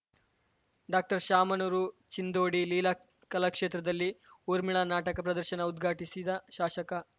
doctor Shamanur Chindodi Leela ಕಲಾಕ್ಷೇತ್ರದಲ್ಲಿ ಊರ್ಮಿಳಾ ನಾಟಕ ಪ್ರದರ್ಶನ ಉದ್ಘಾಟಿಸಿದ ಶಾಶಕ